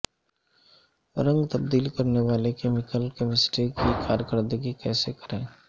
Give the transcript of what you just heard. رنگ تبدیل کرنے والے کیمیکل کیمسٹری کی کارکردگی کیسے کریں